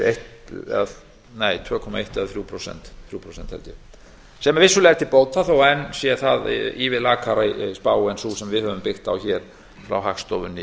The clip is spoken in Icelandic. eitt prósent eða tvö komma þrjú prósent sem er vissulega til bóta þó að enn sé það ívið lakari spá en sú sem við höfum byggt á hér frá hagstofunni